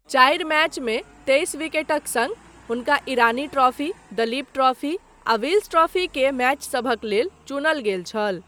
चारि मैचमे तेइस विकेटक सङ्ग, हुनका ईरानी ट्रॉफी, दलीप ट्रॉफी आ विल्स ट्रॉफी के मैचसभक लेल चुनल गेल छल।